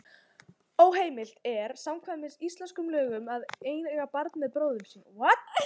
Óheimilt er samkvæmt íslenskum lögum að eiga barn með bróður sínum.